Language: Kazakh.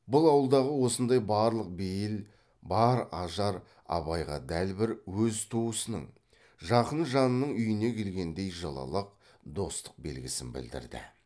бұл ауылдағы осындай барлық бейіл бар ажар абайға дәл бір өз туысының жақын жанының үйіне келгендей жылылық достық белгісін білдірді